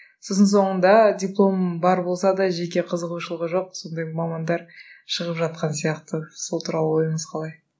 сосын соңында дипломы бар болса да жеке қызығушылығы жоқ сондай мамандар шығып жатқан сияқты сол туралы ойыңыз қалай